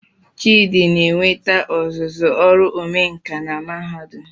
Chidi na-enweta ọzụzụ ọrụ omenkà na Mahadum